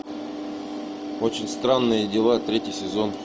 очень странные дела третий сезон